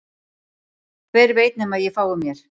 Hver veit nema að ég fái mér